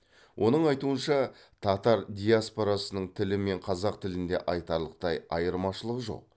оның айтуынша татар диаспорасының тілі мен қазақ тілінде айтарлықтай айырмашылық жоқ